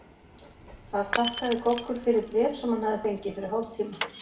Þar þakkaði Goggur fyrir bréf sem hann hafði fengið fyrir hálftíma.